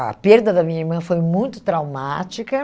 A perda da minha irmã foi muito traumática.